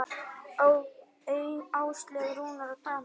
Áslaug, Rúnar og Daníel.